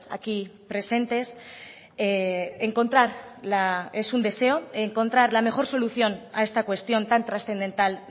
aquí presentes encontrar la mejor solución a esta cuestión tan trascendental